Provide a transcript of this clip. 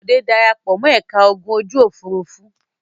Bòdé dara pọ̀ mọ́ ẹ̀ka ogun ojú-òfurufú.